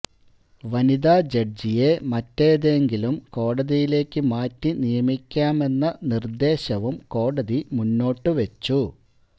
വനിതാ ജഡ്ജിയെ മറ്റേതെങ്കിലും കോടതിയിലേക്ക് മാറ്റി നിയമിക്കാമെന്ന നിർദ്ദേശവും കോടതി മുന്നോട്ട് വെച്ചു